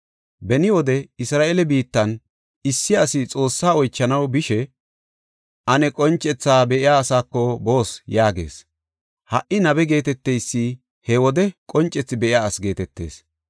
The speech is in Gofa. (Beni wode Isra7eele biittan issi asi Xoosse oychanaw bishe, “Ane qoncethi be7iya asako boos” yaagees. Ha77i nabe geeteteysi he wode qoncethi be7iya asi geetetees.)